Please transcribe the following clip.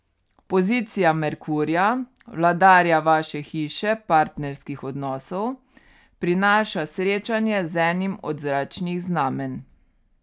Pozicija Merkurja, vladarja vaše hiše partnerskih odnosov, prinaša srečanje z enim od zračnih znamenj.